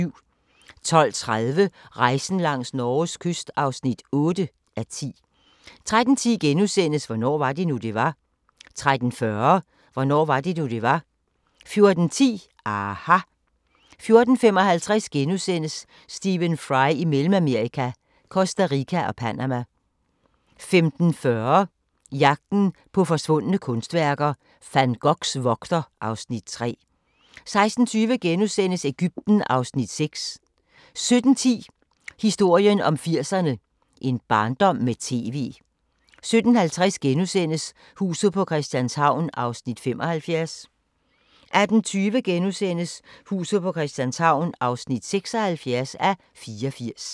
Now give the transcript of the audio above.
12:30: Rejsen langs Norges kyst (8:10) 13:10: Hvornår var det nu, det var? * 13:40: Hvornår var det nu, det var? 14:10: aHA! 14:55: Stephen Fry i Mellemamerika – Costa Rica og Panama * 15:40: Jagten på forsvundne kunstværker - Van Goghs vogter (Afs. 3) 16:20: Egypten (Afs. 6)* 17:10: Historien om 80'erne: En barndom med TV 17:50: Huset på Christianshavn (75:84)* 18:20: Huset på Christianshavn (76:84)*